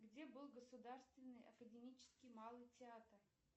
где был государственный академический малый театр